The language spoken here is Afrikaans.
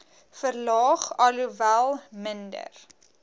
verlaag alhoewel minder